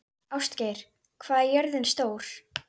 Ástgeir, hvað er jörðin stór?